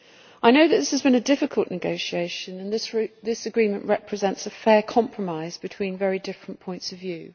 I know that this has been a difficult negotiation and this agreement represents a fair compromise between very different points of view.